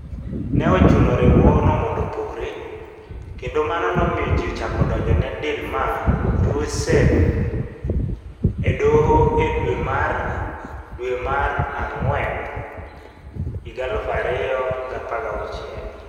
Ne ochuno riwruogno mondo opogre, kendo mano nomiyo ji ochako donjo ne Dilma Rousseff e Doho e dwe mar dwe mara ngwen 2016.